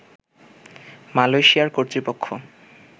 মালয়েশিয়ার কর্তৃপক্ষ